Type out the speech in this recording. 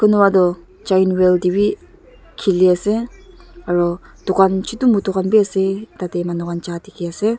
kunba toh giant wheel tae bi khiliase aro dukan chutu mutu khan biase arutatae manu khan ja dikhiase.